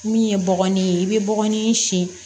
Min ye bɔgɔ de ye i bɛ bɔgɔnin si